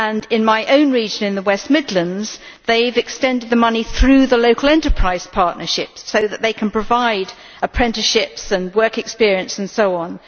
In my own region in the West Midlands they have extended the money through the Local Enterprise Partnership so that they can provide apprenticeships and work experience and so on.